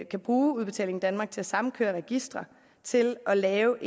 kan bruge udbetaling danmark til at sammenkøre registre til at lave